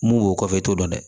Mun b'o kɔfɛ e t'o dɔn dɛ